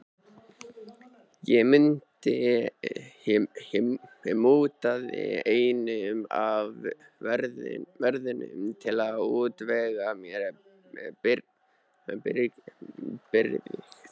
Ég mútaði einum af vörðunum til að útvega mér birgðir.